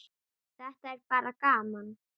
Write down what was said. Þetta er bara gaman.